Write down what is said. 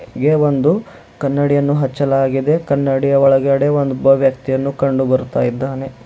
ಹಾಗೆ ಒಂದು ಕನ್ನಡಿಯನ್ನು ಹಚ್ಚಲಾಗಿದೆ ಕನ್ನಡಿಯ ಒಳಗಡೆ ಒಂದ್ ಒಬ್ಬ ವ್ಯಕ್ತಿಯನ್ನು ಕಂಡು ಬರುತ್ತಾ ಇದ್ದಾನೆ.